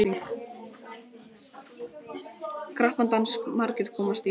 Krappan dans margir komast í.